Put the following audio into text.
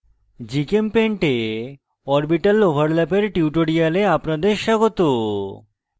gchempaint এ orbital overlap এর tutorial আপনাদের স্বাগত